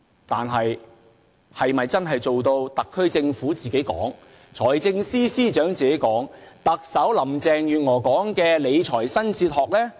但是，這做法是否能做到一如特區政府所說的、財政司司長所說的、特首林鄭月娥所說的理財新哲學呢？